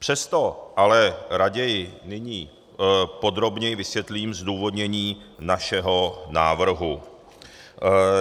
Přesto ale raději nyní podrobněji vysvětlím zdůvodnění našeho návrhu.